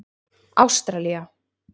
Ástralía